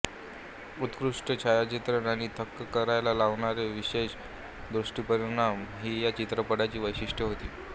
उत्कृष्ट छायाचित्रण आणि थक्क करायला लावणारे विशेष दृक्परिणाम ही या चित्रपटाची वैशिष्ट्ये होती